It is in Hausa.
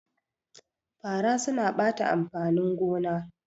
Fara suna ɓata amfanin gona